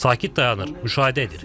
Sakit dayanır, müşahidə edir.